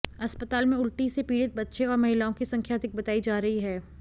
अस्पताल में उल्टी से पीड़ित बच्चे और महिलाओं की संख्या अधिक बताई जा रही है